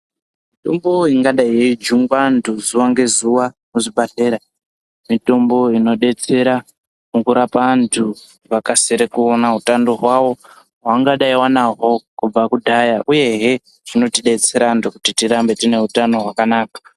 Mitombo ingadai yeijungwa antu zuva ngezuva kuzvibhadhlera. Mitombo inobetsera mukurape antu vakasire mukuona hutano hwavo hwaanga dai anaho kubva kudhaya, uyehe zvinotibetsera antu kuti tirambe tine utano hwakanaka.